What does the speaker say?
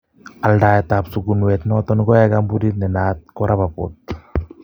Aldaet ab sukunweet noton koyae koombuniit nenaat ko Rapaport.